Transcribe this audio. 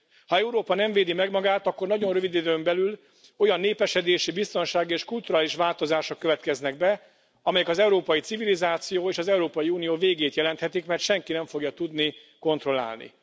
Ha Európa nem védi meg magát, akkor nagyon rövid időn belül olyan népesedési, biztonsági és kulturális változások következnek be, amelyek az európai civilizáció és az Európai Unió végét jelenthetik, mert senki nem fogja tudni kontrollálni.